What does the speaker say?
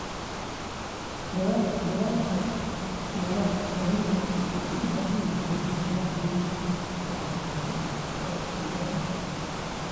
Dadaalka nabad-raadinta waxay u baahan yihiin nidaamyo waxbarasho oo xooggan.